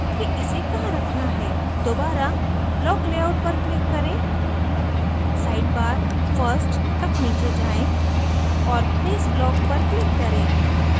दोबारा block layout पर click करें sidebar first तक नीचे जाएँ और place block पर click करें